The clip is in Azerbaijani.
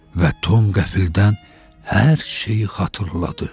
Və Tom qəfildən hər şeyi xatırladı.